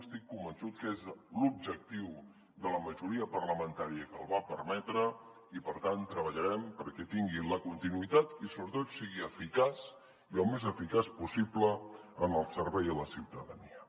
estic convençut que és l’objectiu de la majoria parlamentària que el va permetre i per tant treballarem perquè tingui la continuïtat i sobretot sigui eficaç i el més eficaç possible en el servei a la ciutadania